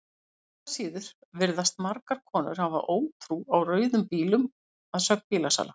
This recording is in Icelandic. Engu að síður virðast margar konur hafa ótrú á rauðum bílum að sögn bílasala.